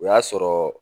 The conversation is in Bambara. O y'a sɔrɔ